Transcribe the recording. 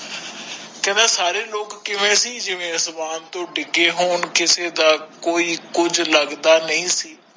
ਕਹਿੰਦਾ ਸਾਰੇ ਲੋਕ ਕਿਵੇਂ ਸੀ ਜਿਵੇ ਅਸਮਾਨ ਤੋਂ ਡਿਗੇ ਹੋਣ ਕਿਸੇ ਦਾ ਕੋਈ ਕੁਛ ਲਗਦਾ ਨਹੀਂ ਸੀ